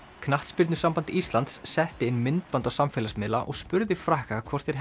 knattspyrnusamband Íslands setti inn myndband á samfélagsmiðla og spurði Frakka hvort þeir